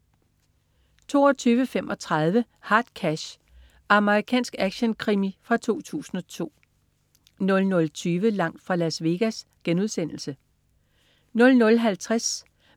22.35 Hard Cash. Amerikansk actionkrimi fra 2002 00.20 Langt fra Las Vegas* 00.50